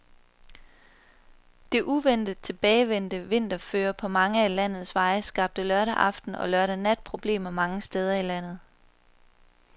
Det uventet tilbagevendte vinterføre på mange af landets veje skabte lørdag aften og lørdag nat problemer mange steder i landet.